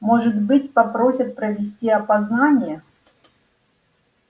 может быть попросят провести опознание